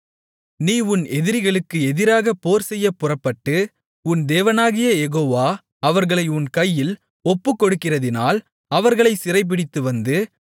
நீ உன் எதிரிகளுக்கு எதிராக போர்செய்யப் புறப்பட்டு உன் தேவனாகிய யெகோவா அவர்களை உன் கையில் ஒப்புக்கொடுக்கிறதினால் அவர்களைச் சிறைபிடித்துவந்து